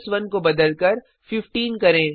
1 को बदलकर 15 करें